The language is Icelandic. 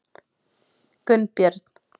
Gunnbjörn